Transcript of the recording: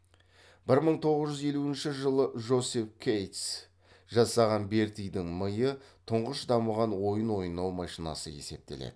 бір мың тоғыз жүз елуінші жылы жосеф кейтс жасаған бертидің миы тұңғыш дамыған ойын ойнау машинасы есептеледі